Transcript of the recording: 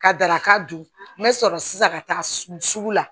Ka daraka dun n bɛ sɔrɔ sisan ka taa sugu la